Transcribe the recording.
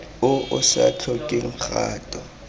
o o sa tlhokeng kgato